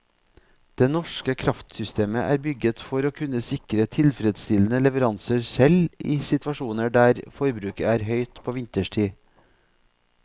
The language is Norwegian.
Det norske kraftsystemet er bygget for å kunne sikre tilfredsstillende leveranser selv i situasjoner der forbruket er høyt på vinterstid.